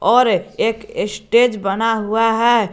और एक स्टेज बना हुआ है।